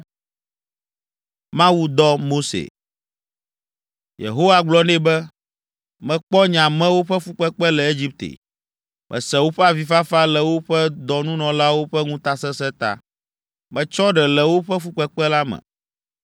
Yehowa gblɔ nɛ be, “Mekpɔ nye amewo ƒe fukpekpe le Egipte, mese woƒe avifafa le woƒe dɔnunɔlawo ƒe ŋutasesẽ ta. Metsɔ ɖe le woƒe fukpekpe la me,